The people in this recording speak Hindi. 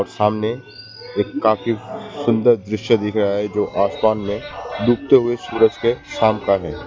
और सामने एक काफी सुंदर दृश्य दिख रहा है जो आसमान में डूबते हुए सूरज के शाम का है।